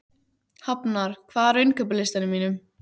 Hafnar, hvað er á innkaupalistanum mínum?